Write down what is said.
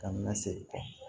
K'an lasegin